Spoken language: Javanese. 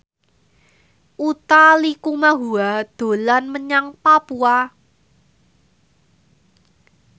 Utha Likumahua dolan menyang Papua